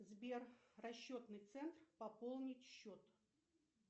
сбер расчетный центр пополнить счет